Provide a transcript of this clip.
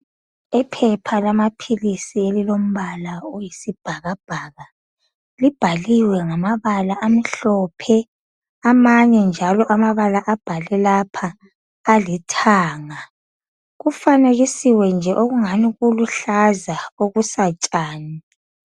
Iphepha lamaphilisi elilombala oyisibhakabhaka. Libhaliwe ngamabala amhlophe, amanye njalo amabala abhalwe lapha alithanga. Kufanekisiwe nje okungani kuluhlaza okusatsani.